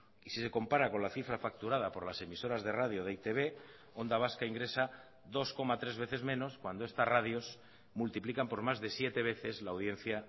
y si se compara con la cifra facturada por las emisoras de radio de e i te be onda vasca ingresa dos coma tres veces menos cuando estas radios multiplican por más de siete veces la audiencia